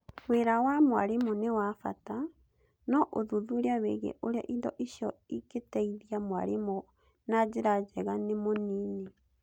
Wĩra wa mwarimũ nĩ wa bata, no ũthuthuria wĩgiĩ ũrĩa indo icio ingĩteithia mwarimũ na njĩra njega nĩ mũnini.